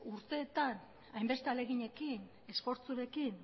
urteetan hainbeste ahaleginekin esfortzurekin